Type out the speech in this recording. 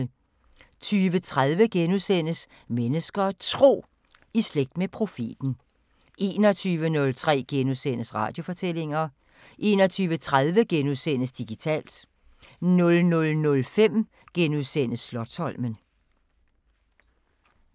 20:30: Mennesker og Tro: I slægt med profeten * 21:03: Radiofortællinger * 21:30: Digitalt * 00:05: Slotsholmen *